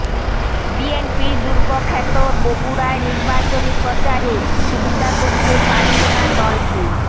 বিএনপির দুর্গখ্যাত বগুড়ায় নির্বাচনী প্রচারে সুবিধা করতে পারছে না দলটি